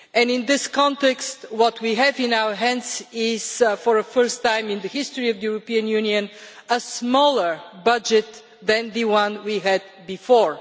In this context, what we have in our hands is, for the first time in the history of the European Union, a smaller budget than the one we had before.